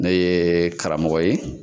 Ne ye karamɔgɔ ye.